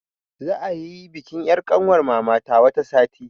Za'a yi bikin yar' ƙanwar mamana wata sati.